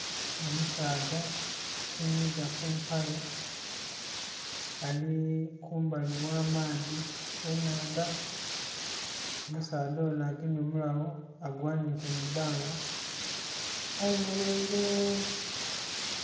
Omusaadha afunhiiza ku mpale, ali kumbali ogh'amaadhi, ennhandha. Omusaadha onho agemye omulagho agughaniike mu ibbanga, ayemeleire...